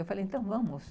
Eu falei, então vamos.